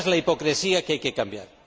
Esa es la hipocresía que hay que cambiar.